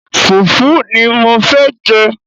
Fùfú ni mo fẹ́ jẹ́.